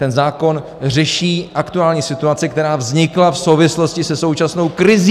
Ten zákon řeší aktuální situaci, která vznikla v souvislosti se současnou krizí.